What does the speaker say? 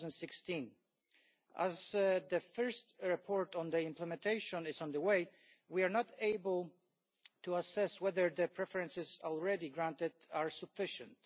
2016. As the first report on implementation is underway, we are not yet able to assess whether the preferences already granted are sufficient.